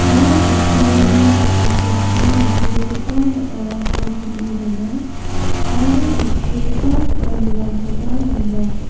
ia kutchurini jakasichi nitobegipa ba·rarangko peng·e dona aro teng·sugipa teng·anirangkoba dona.